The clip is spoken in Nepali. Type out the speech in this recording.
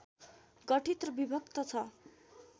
गठित र विभक्त छ